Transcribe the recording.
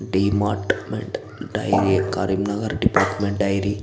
Department dairy Karimnagar department dairy .